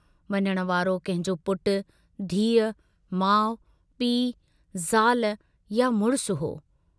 वञण वारो कंहिंजो पुटु, धीउ, माउ, पीउ, ज़ाल या मुड़िस हो।